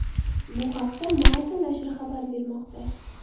Bu haqda Marca nashri xabar bermoqda.